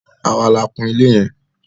Àwa la kun ilé yẹn.